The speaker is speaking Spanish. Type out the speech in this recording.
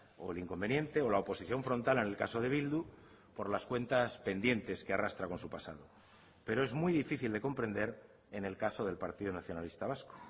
o el inconveniente o la oposición frontal en el caso de bildu por las cuentas pendientes que arrastra con su pasado pero es muy difícil de comprender en el caso del partido nacionalista vasco